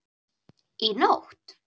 Í nótt?